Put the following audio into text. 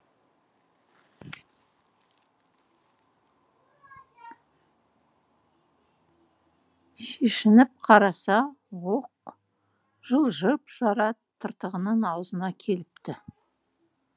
шешініп қараса оқ жылжып жара тыртығының аузына келіпті